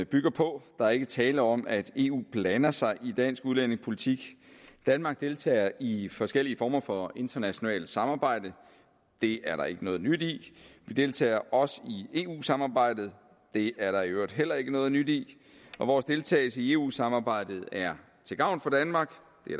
bygger på der er ikke tale om at eu blander sig i dansk udlændingepolitik danmark deltager i i forskellige former for internationalt samarbejde det er der ikke noget nyt i vi deltager også i eu samarbejdet det er der i øvrigt heller ikke noget nyt i vores deltagelse i eu samarbejdet er til gavn for danmark